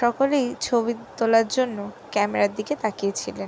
তকলেই ছবি তোলার জন্য ক্যামেরার দিকে তাকিয়েছিলেন।